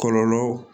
Kɔlɔlɔ